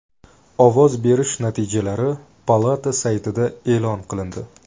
Ovoz berish natijalari palata saytida e’lon qilindi.